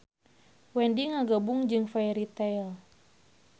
Wendy ngagabung jeung Fairy Tail.